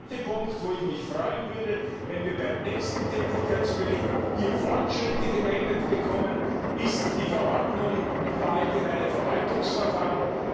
Der zweite Punkt, wo ich mich freuen würde, wenn wir beim nächsten Tätigkeitsbericht Fortschritte gemeldet bekämen, ist die Verordnung über allgemeine Verwaltungsverfahren.